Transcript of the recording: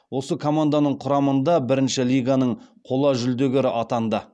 осы команданың құрамында бірінші лиганың қола жүлдегері атанды